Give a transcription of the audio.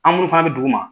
An minnu fana bɛ dugu ma